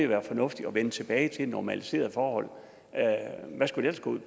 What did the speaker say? være fornuftigt at vende tilbage til normaliserede forhold hvad skulle